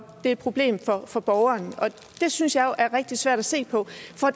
et problem for borgerne og det synes jeg er rigtig svært at se på